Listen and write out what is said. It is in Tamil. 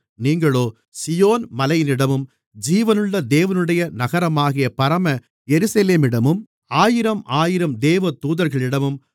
நீங்களோ சீயோன் மலையினிடமும் ஜீவனுள்ள தேவனுடைய நகரமாகிய பரம எருசலேமிடமும் ஆயிரமாயிரம் தேவதூதர்களிடமும்